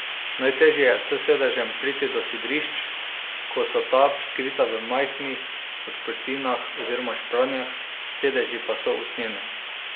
Najtežje je s sedežem priti do sidrišč, ko so ta skrita v majhnih odprtinah oziroma špranjah, sedeži pa so usnjeni.